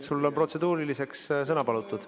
Sul on protseduuriliseks sõna palutud.